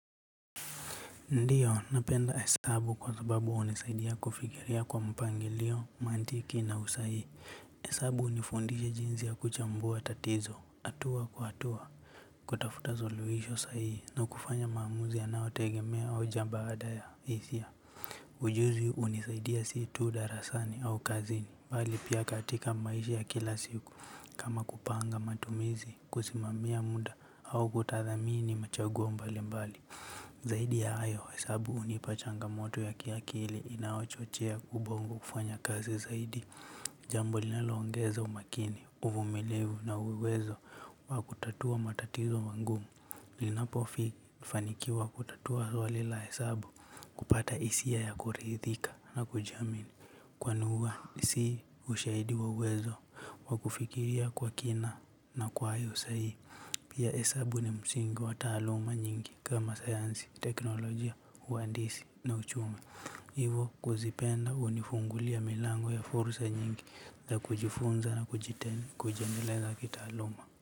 Ndiyo, napenda hesabu kwa sababu hunisaidia kufikiria kwa mpangilio, maantiki na usahihi. Hesabu hunifundisha jinsi ya kuchambua tatizo, atua kwa atua. Kutafuta suluhisho sahihi na kufanya maamuzi yanaotegemea hoja baada ya hisia. Ujuzi unisaidia si tu darasani au kazini. Bali pia katika maisha ya kila siku. Kama kupanga matumizi, kusimamia muda au kutathamini machaguo mbali mbali. Zaidi ya hayo hesabu unipa changamoto ya kiakili inayochochea kubongo kufanya kazi zaidi. Jambo linaloongeza umakini, uvumilivu na uwezo wa kutatua matatizo wangumu. Linapo fi fanikiwa kutatua swali la hesabu kupata isia ya kuridhika na kujiamini. Kwani ua si ushahidi wa uwezo wa kufikiria kwa kina na kwa hayo sai. Pia esabu ni msingi wa taaluma nyingi kama sayansi, teknolojia, uandisi na uchumi. Hivo kuzipenda unifungulia milango ya fursa nyingi za kujifunza na kujite kujiendeleza kitaaluma.